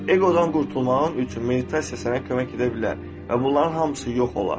Eqodan qurtulmağın üçün meditasiya sənə kömək edə bilər və bunların hamısı yox olar.